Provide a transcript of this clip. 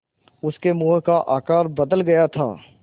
उसके मुँह का आकार बदल गया था